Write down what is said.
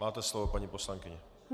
Máte slovo, paní poslankyně.